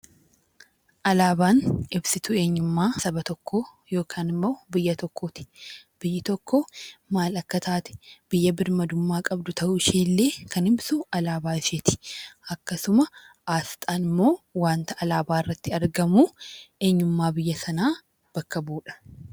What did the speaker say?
Alaabaan ibsituu eenyummaa Saba tokkoo yookaan immoo biyya tokkooti. Biyyi tokko maal Akka taatee biyya birmadummaa qabdu ta'uu isheellee kan ibsu alaabaa isheeti. Akkasuma asxaan immoo wanta alaabaa irratti argamu eenyummaa biyya Sanaa bakka bu'udha.